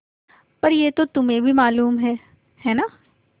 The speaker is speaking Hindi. पर यह तो तुम्हें भी मालूम है है न